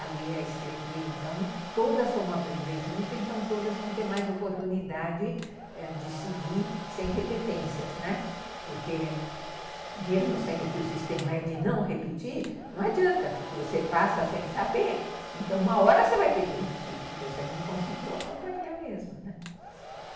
a ler a escrever, então todas vão aprender junto, então todas vão ter mais oportunidade de seguir sem repetências, né, porque mesmo sendo que o sistema é de não repetir, não adianta porque você passa sem saber. Então uma hora você vai ter que repetir, porque você não conseguiu acompanhar mesmo, né.